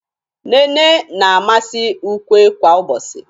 nnene na-amasi ukwe kwa ubochi.